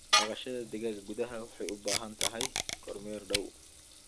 Dhaqashada digaaga gudaha waxay u baahan tahay kormeer dhow.